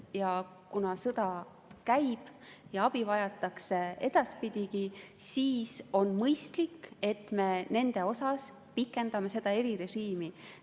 Ja kuna sõda käib ja abi vajatakse edaspidigi, siis on mõistlik, et me nende jaoks pikendame seda erirežiimi.